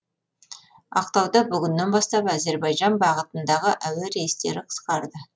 ақтауда бүгіннен бастап әзербайжан бағытындағы әуе рейстері қысқарды